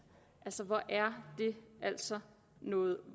hvor er det altså noget